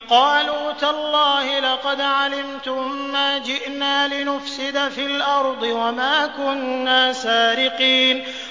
قَالُوا تَاللَّهِ لَقَدْ عَلِمْتُم مَّا جِئْنَا لِنُفْسِدَ فِي الْأَرْضِ وَمَا كُنَّا سَارِقِينَ